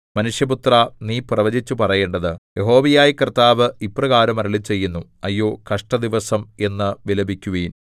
മനുഷ്യപുത്രാ നീ പ്രവചിച്ചു പറയേണ്ടത് യഹോവയായ കർത്താവ് ഇപ്രകാരം അരുളിച്ചെയ്യുന്നു അയ്യോ കഷ്ടദിവസം എന്ന് വിലപിക്കുവിൻ